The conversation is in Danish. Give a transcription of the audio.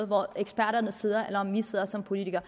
hvor eksperterne sidder eller om vi sidder som politikere